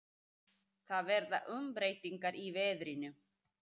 Það verða umbreytingar í veðrinu.